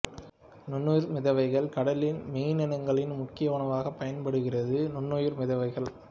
நுண்ணுயிர் மிதவைகள் கடலில் மீனினங்களின் முக்கிய உணவாக பயன் படுகிறது நுண்ணுயிர் மிதவைகள்